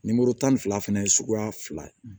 Nimoro tan ni fila fana ye suguya fila ye